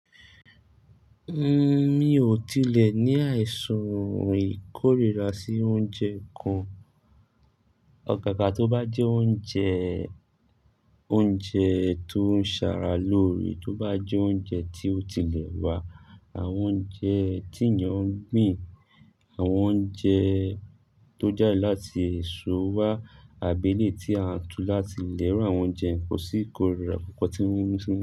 Mi ò tilẹ̀ ní àìsàn ìkórìíra sí oúnjẹ kan. Ọ̀gágà tó bá jẹ́ oúnjẹ, oúnjẹ tó ń ṣàrà lórí, tó bá jẹ́ oúnjẹ tí ó tilẹ̀ wà, àwọn oúnjẹ tí èeyàn ń gbìn, àwọn oúnjẹ tó jáde láti èso wá, àbélè tí a tú láti ìlé irù àwọn oúnjẹ, kò sí ìkórìíra kankan tí ń mú fún mi.